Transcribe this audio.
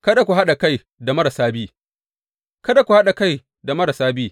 Kada ku haɗa kai da marasa bi Kada ku haɗa kai da marasa bi.